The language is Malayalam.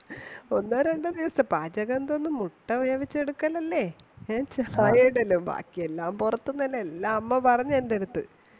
ഒന്നോ രണ്ടോ പാചകം എന്തോന്നു മുട്ട വേവിച്ചു എടുക്കൽ അല്ലെ ബാക്കി എല്ലാം പുറത്തു നിന്ന് അല്ലെ എല്ലാം അമ്മ പറഞ്ഞു എന്റെ അടുത്ത്